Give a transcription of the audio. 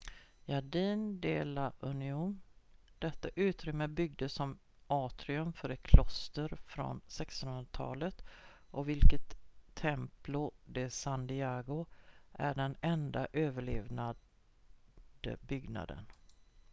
jardín de la unión detta utrymme byggdes som atrium för ett kloster från 1600-talet av vilket templo de san diego är den enda överlevande byggnaden